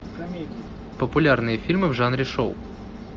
популярные фильмы в жанре шоу